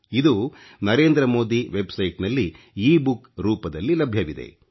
ಇದು ಓಚಿಡಿeಟಿಜಡಿಚಿಒoಜi ತಿebsiಣe ನಲ್ಲಿ ebooಞ ರೂಪದಲ್ಲಿ ಲಭ್ಯವಿದೆ